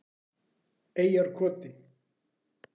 Eyjarkoti